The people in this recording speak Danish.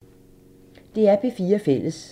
DR P4 Fælles